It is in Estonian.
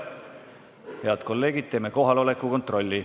Head kolleegid, teeme kohaloleku kontrolli.